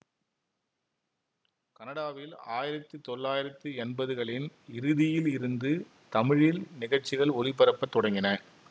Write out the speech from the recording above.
கனடாவில் ஆயிரத்தி தொள்ளாயிரத்தி எம்பதுகளின் இறுதியில் இருந்து தமிழில் நிகழ்சிகள் ஒலிபரப்ப தொடங்கின